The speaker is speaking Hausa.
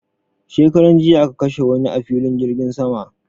shekaran jiya aka kashe wani a filin jirgin sama